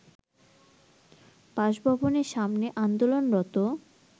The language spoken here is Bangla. বাসভবনের সামনে আন্দোলনরত